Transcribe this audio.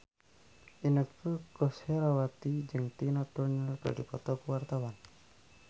Inneke Koesherawati jeung Tina Turner keur dipoto ku wartawan